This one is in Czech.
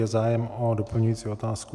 Je zájem o doplňující otázku?